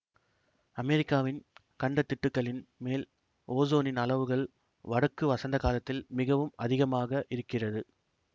அமெரிக்காவின் கண்டத்திட்டுக்களின் மேல் ஓசோனின் அளவுகள் வடக்கு வசந்தகாலத்தில் மிகவும் அதிகமாக இருக்கிறது